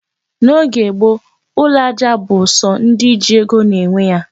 N'oge gboo, ụlọ aja bụ sọ ndị ji ego na-enwe ya.